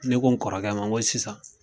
Ne ko n kɔrɔkɛ ma ko sisan